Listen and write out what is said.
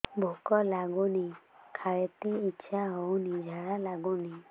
ଭୁକ ଲାଗୁନି ଖାଇତେ ଇଛା ହଉନି ଝାଡ଼ା ଲାଗୁନି